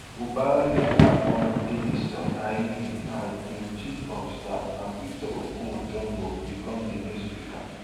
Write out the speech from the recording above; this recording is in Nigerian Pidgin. fubara later appoint edison ehie as im chief of staff and victor oko jumbo bicom di new speaker